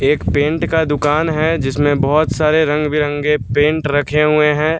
एक पेंट का दुकान है जिसमें बहोत सारे रंग-बिरंगे पेंट रखे हुए हैं।